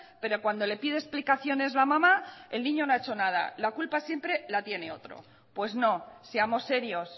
pero cuando le pide explicaciones la amama el niño no ha hecho nada la culpa siempre la tiene otro pues no seamos serios